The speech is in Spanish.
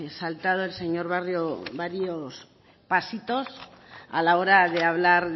saltado el señor barrio varios pasitos a la hora de hablar